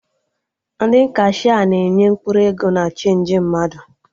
Ndị kashia na-enye mkpụrụ ego na chenji mmadụ